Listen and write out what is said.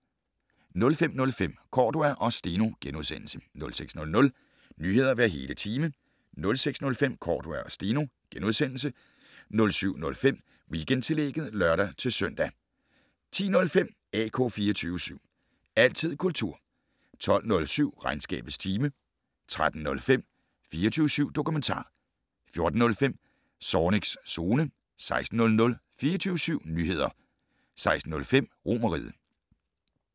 05:05: Cordua og Steno * 06:00: Nyheder hver hele time 06:05: Cordua og Steno * 07:05: Weekendtillægget (lør-søn) 10:05: AK 24syv. Altid kultur 12:07: Regnskabets time 13:05: 24syv dokumentar 14:05: Zornigs Zone 16:00: 24syv Nyheder 16:05: Romerriget